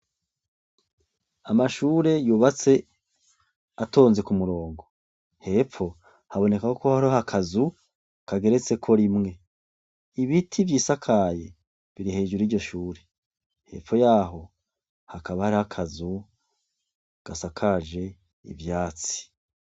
Amashure yubatse atonze ku murongo. Hepfo, haboneka ko hariho akazu kageretseko rimwe. Ibiti vyisakaye biri hejuru y'iryo shure. Hepfo yaho hakaba hariho akazu gasakaje ivyatsi.